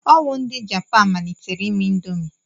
Ọ wụ ndị Japan malitere ime ịndomii.